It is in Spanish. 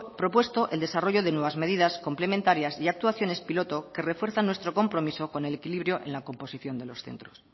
propuesto el desarrollo de nuevas medidas complementarias y actuaciones piloto que refuerzan nuestro compromiso con el equilibrio en la composición de los centros